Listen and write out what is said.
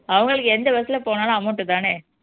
அவங்களுக்கு எந்த bus ல போனாலும் amount தானே